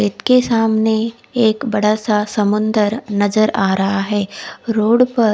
एक के सामने एक बड़ा सा समुन्द्र नजर आ रहा है रोड पर--कोई